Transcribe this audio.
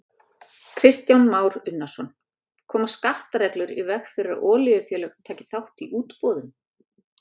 Kristján Már Unnarsson: Koma skattareglur í veg fyrir að olíufélög taki þátt í útboðum?